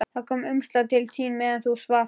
Það kom umslag til þín meðan þú svafst, sagði hún.